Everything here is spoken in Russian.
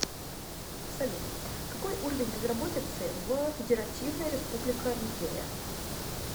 салют какой уровень безработицы в федеративная республика нигерия